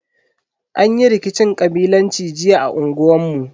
Anyi rikicin kabilanci jiya a unguwan mu.